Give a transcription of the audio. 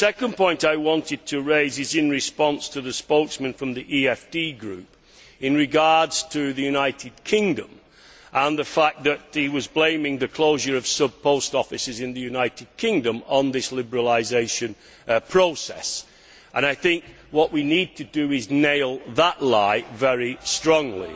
The second point I wanted to raise is in response to the spokesman from the EFD Group with regard to the United Kingdom and the fact that he was blaming the closure of sub post offices in the United Kingdom on this liberalisation process. We need to nail that lie very strongly.